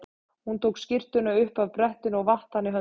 Hún tók skyrtuna upp af brettinu og vatt hana í höndunum.